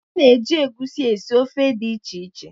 A na-eji egwusi esi ofe dị iche iche.